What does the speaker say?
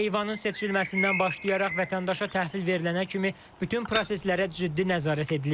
Heyvanın seçilməsindən başlayaraq vətəndaşa təhvil verilənə kimi bütün proseslərə ciddi nəzarət edilir.